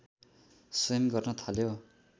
स्वयं गर्न थाल्यो